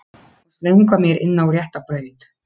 Og slöngva mér inn á rétta braut.